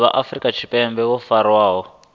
vha afrika tshipembe vho farwaho